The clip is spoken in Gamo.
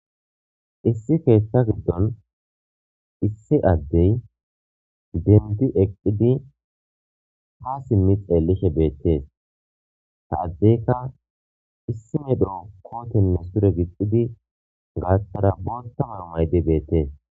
Issi keeththa giddon issi addey dendi eqqidi ha simmi xeellishe beettees ta addeyka issi medro kootenne sure gixxidi gaattara bootamar maydi beettees.